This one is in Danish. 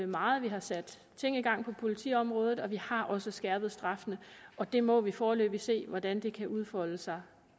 meget vi har sat ting i gang på politiområdet og vi har også skærpet straffene og vi må foreløbig se hvordan det kan udfolde sig